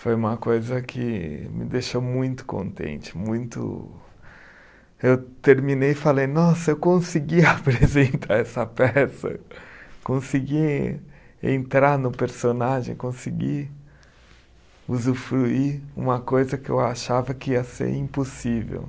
Foi uma coisa que me deixou muito contente, muito. Eu terminei e falei, nossa, eu consegui apresentar essa peça, consegui entrar no personagem, consegui usufruir uma coisa que eu achava que ia ser impossível.